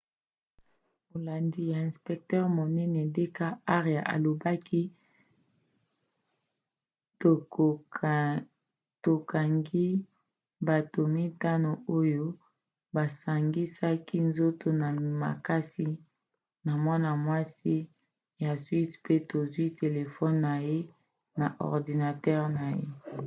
molandi ya inspecteur monene d k arya alobaki: tokangi bato mitano oyo basangisaki nzoto na makasi na mwana-mwasi ya swisse pe tozwi telefone na ye na ordinatere na ye